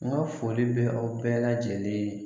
N ka foli bɛ aw bɛɛ lajɛlen ye.